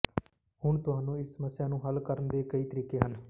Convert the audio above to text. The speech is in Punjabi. ਹੁਣ ਤੁਹਾਨੂੰ ਇਸ ਸਮੱਸਿਆ ਨੂੰ ਹੱਲ ਕਰਨ ਦੇ ਕਈ ਤਰੀਕੇ ਹਨ